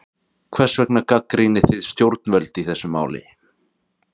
Hvers vegna gagnrýnið þið stjórnvöld í þessu máli?